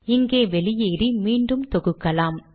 இங்கே வெளியேறி மீண்டும் தொகுக்கலாம்